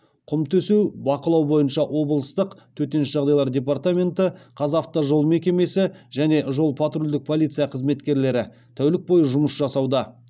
құм төсеу бақылау бойынша облыстық төтенше жағдайлар департаменті қазавтожол мекемесі және жол патрульдік полиция қызметкерлері тәулік бойы жұмыс жасауда